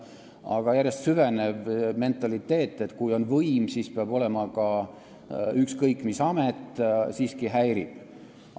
Aga järjest süvenev mentaliteet, et kui on võim, siis peab olema ka ükskõik mis amet, siiski häirib.